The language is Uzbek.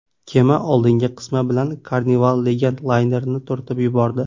Kema oldingi qismi bilan Carnival Legend laynerini turtib yubordi.